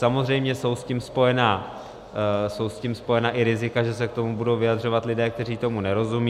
Samozřejmě jsou s tím spojena i rizika, že se k tomu budou vyjadřovat lidé, kteří tomu nerozumí.